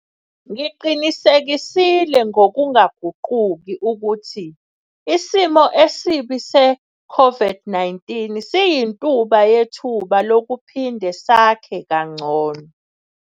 Ngiqinisekisile ngokungaguquki ukuthi isimo esibi se-COVID-19 siyintuba yethuba lokuphinde sakhe kangcono.